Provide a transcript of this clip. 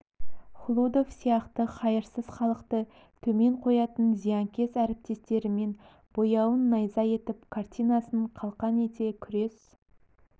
хлудов сияқты хайырсыз халықты төмен қоятын зиянкес әріптестерімен бояуын найза етіп картинасын қалқан ете күрес